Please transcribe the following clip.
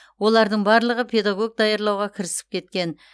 олардың барлығы педагог даярлауға кірісіп кеткен